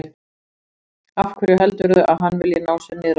Af hverju heldurðu að hann vilji ná sér niðri á þér?